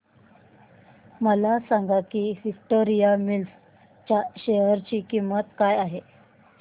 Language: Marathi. हे सांगा की विक्टोरिया मिल्स च्या शेअर ची किंमत काय आहे